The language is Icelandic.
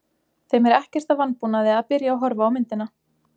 Þeim er ekkert að vanbúnaði að byrja að horfa á myndina.